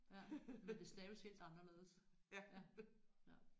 Ja men det staves helt anderledes ja ja